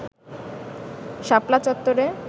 শাপলা চত্ত্বরে